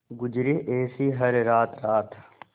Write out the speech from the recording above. गुजरे ऐसी हर रात रात